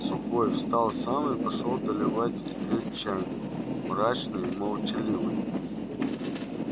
сухой встал сам и пошёл доливать и греть чайник мрачный и молчаливый